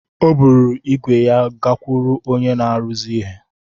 O buru ígwè ya gakwuru onye na-arụzi ihe.